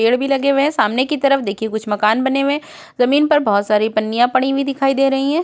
पेड़ भी लगे हुए हैं। सामने की तरफ देखिए कुछ मकान बने हुए हैं। जमीन पर बोहोत सारी पन्नियाँ पड़ी हुई दिखाई दे रही हैं।